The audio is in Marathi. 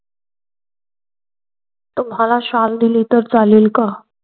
तुम्हाला शाल दिली तर चालेल का?